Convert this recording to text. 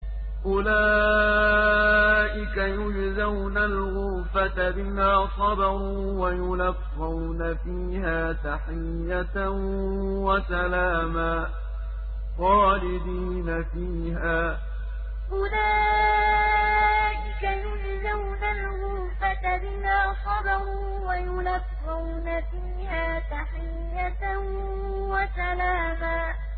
أُولَٰئِكَ يُجْزَوْنَ الْغُرْفَةَ بِمَا صَبَرُوا وَيُلَقَّوْنَ فِيهَا تَحِيَّةً وَسَلَامًا أُولَٰئِكَ يُجْزَوْنَ الْغُرْفَةَ بِمَا صَبَرُوا وَيُلَقَّوْنَ فِيهَا تَحِيَّةً وَسَلَامًا